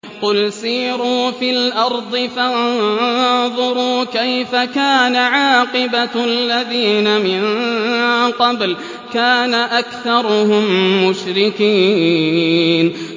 قُلْ سِيرُوا فِي الْأَرْضِ فَانظُرُوا كَيْفَ كَانَ عَاقِبَةُ الَّذِينَ مِن قَبْلُ ۚ كَانَ أَكْثَرُهُم مُّشْرِكِينَ